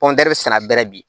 sɛnɛ bɛrɛ bi